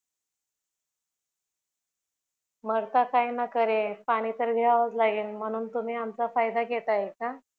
मरता काय न करे पाणी तर घ्यावेच लागेल म्हणून तुम्ही आमचा फायदा घेताय का